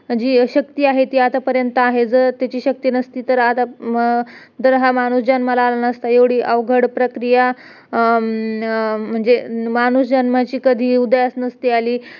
अ तिकडे कासरवाडीला एक हाय Mahendra Kotak Bank तिकडे call centre च काम तिकडे हाय तेरा हजार वगैरे पगार हाय.